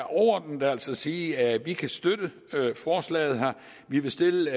altså overordnet sige at vi kan støtte forslaget vi vil stille